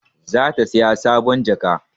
Za ta saya sabon jaka